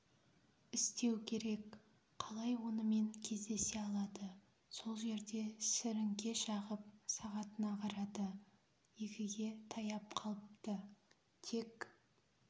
істеу керек қалай онымен кездесе алады сол жерде сіріңке шағып сағатына қарады екіге таяп қалыпты тек